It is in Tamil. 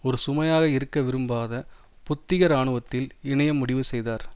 ஒரு சுமையாக இருக்க விரும்பாத புத்திக இராணுவத்தில் இணைய முடிவு செய்தார்